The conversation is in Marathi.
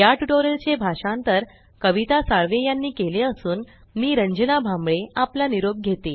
या ट्यूटोरियल चे भाषांतर कविता साळवे यानी केले असून मी रंजना भांबळे आपला निरोप घेते